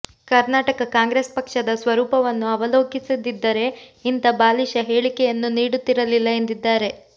ಕರ್ನಾಟಕ ಕಾಂಗ್ರೆಸ್ ಪಕ್ಷದ ಸ್ವರೂಪವನ್ನು ಅವಲೋಕಿಸಿದ್ದರೆ ಇಂಥ ಬಾಲಿಶ ಹೇಳಿಕೆಯನ್ನು ನೀಡುತ್ತಿರಲಿಲ್ಲ ಎಂದಿದ್ದಾರೆ